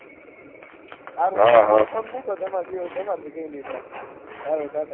હારુ હારુ phone મુકો તો તમાર થી કઈ નહી થાય હાલો તાતા